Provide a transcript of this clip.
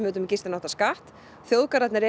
með gistináttaskatt og þjóðgarðarnir eru